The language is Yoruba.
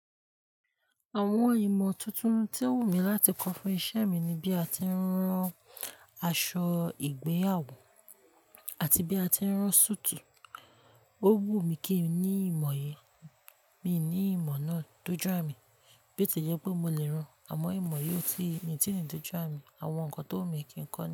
Àwọn ìmọ̀ tuntun tí o wù mí láti kọ́ fún iṣẹ́ mi ni bí a ti ń rán aṣọ ìgbéyàwó àti bí a ti ń rán súùtù. Ó wù mí kín ní ìmọ̀ yìí, mi ní ìmọ̀ náà dojú àmi bó tie jẹ́ pé mo lè ràn àmọ̀ imo yìí o tí, mi ti ni dojú àmi, àwọn nǹkan tó wù mí kí n kọ́